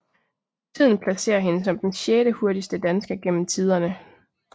Tiden placerer hende som den sjettehurtigste dansker gennem tiderne